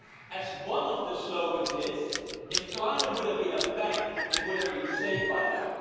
As one of the slogans says if climate had been a bank, it would have been safe by now.